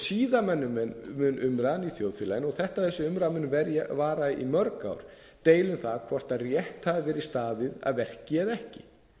síðan mun umræðan í þjóðfélaginu og þetta er þessi umræða mun vara í mörg ár deila um það hvort rétt hafi verið staðið að verki eða ekki